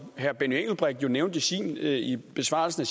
herre benny engelbrecht nævnte i sin besvarelse af